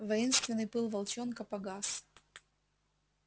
воинственный пыл волчонка погас